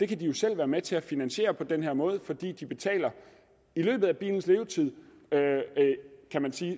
kan de jo selv være med til at finansiere på den her måde fordi de i løbet af bilens levetid